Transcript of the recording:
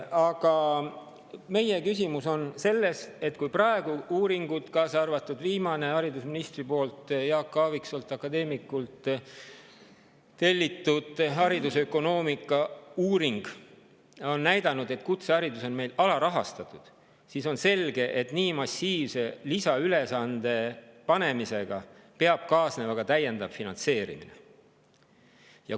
Aga küsimus on selles, et kui uuringud – kaasa arvatud viimane, haridusministri poolt Jaak Aaviksoolt, akadeemikult, tellitud haridusökonoomika uuring – on näidanud, et kutseharidus on meil alarahastatud, siis on selge, et nii massiivse lisaülesande panemisega peab kaasnema täiendav finantseerimine.